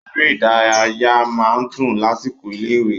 Eré ìdárayá máa ń dùn lásìkò ilé-ìwé.